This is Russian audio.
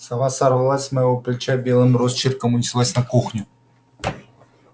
сова сорвалась с моего плеча белым росчерком унеслась на кухню